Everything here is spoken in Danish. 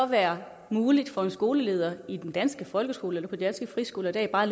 være muligt for en skoleleder i den danske folkeskole eller på en dansk friskole i dag bare